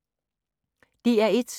DR1